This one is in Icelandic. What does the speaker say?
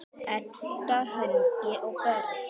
Edda, Högni og börn.